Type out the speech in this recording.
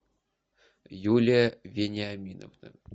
юлия вениаминовна